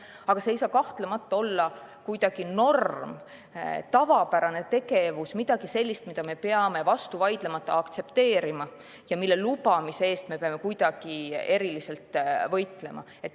Aga kahtlemata ei saa see olla norm, tavapärane tegevus, midagi sellist, mida me peame vastu vaidlemata aktsepteerima ja mille lubamise eest me peame eriliselt võitlema.